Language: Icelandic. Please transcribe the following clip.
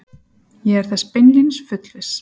Ég er þess beinlínis fullviss